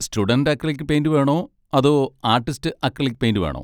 Student acrylic paint വേണോ അതോ artist acrylic paint വേണോ?